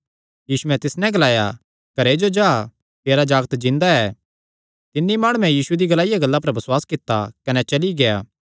यीशुयैं तिस नैं ग्लाया घरे जो जा तेरा जागत जिन्दा ऐ तिन्नी माणुयैं यीशु दी ग्लाईया गल्ला पर बसुआस कित्ता कने चली गेआ